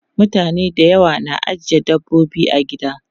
Mutane da yawa na ajiye dabbobi a gida.